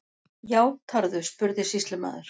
Játarðu, spurði sýslumaður.